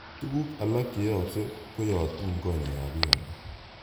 Tuguk alak che yooksei koyotu konyek ap piik alak.